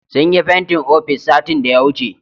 Sun yi fentin ofis satin daya wuce